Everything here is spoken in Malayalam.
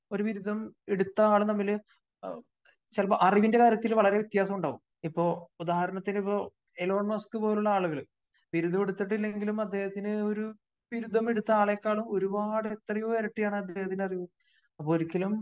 ഒരു ബിരുദം എടുത്ത ആളും തമ്മില് ചിലപ്പോ അറിവിന്റെ കാര്യത്തില് വളരെ വ്യത്യാസം ഉണ്ടാകും. ഇപ്പോ ഉദാഹരണത്തിന് ഇപ്പോ ഏലോൺ മോസ്ക് പോലുള്ള ബിരുദമെടുത്തിട്ടില്ലെങ്കിലും അദ്ദേഹത്തിന് ബിരുദമെടുത്ത ആളെക്കാളും ഒരുപാട് എത്രയോ ഇരട്ടിയാണ് അദ്ദേഹത്തിന്റെ അറിവ്